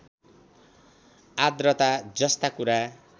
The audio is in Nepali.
आद्रता जस्ता कुरा